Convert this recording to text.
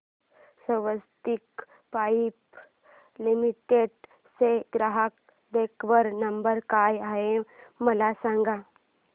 स्वस्तिक pipe limited चा ग्राहक देखभाल नंबर काय आहे मला सांगा